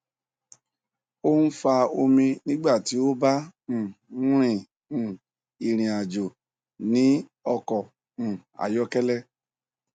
o n fa omi nigba ti o ba um rin um irinajo ni ọkọ um ayọkẹlẹ